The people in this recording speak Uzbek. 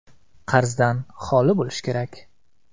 Qarzdan xoli bo‘lishi kerak.